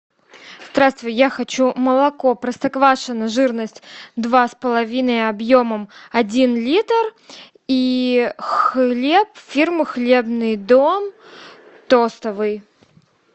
здравствуй я хочу молоко простоквашино жирность два с половиной объемом один литр и хлеб фирмы хлебный дом тостовый